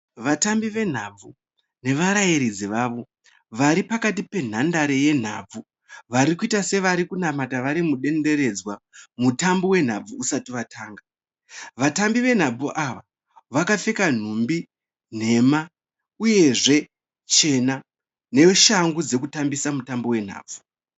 Vatambi venhabvu nevarairidzi vavo. Varipakati penhandare yenhabvu. Varikuita sevari kunamata vari mudenderedzwa mutambo wenhabvu usati watanga. Vatambi venhabvu ava vakapfeka nhumbi nhema, uyezve chena neshangu dzekutambisa mutambo wenhabvu.